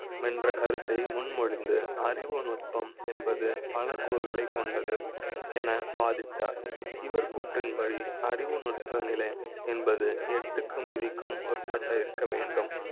என்ற கருத்தை முன்மொழிந்து அறிவு நுட்ப ம் என்பது பல கூறுகளை கொண்டது என வாதிட்டார். இவர் கூற்றி ன்படி, அறிவு நுட்ப நிலை என்பது எட்டு க் கு மதி க்கும் ஒரு பட்ட இருக்க வேண்டும்.